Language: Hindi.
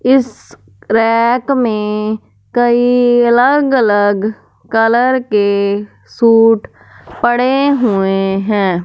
इस रैक में कई अलग अलग कलर के सूट पड़े हुए हैं।